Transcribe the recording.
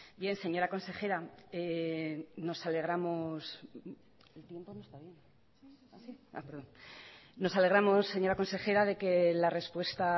bien señora consejera nos alegramos señora consejera de que la respuesta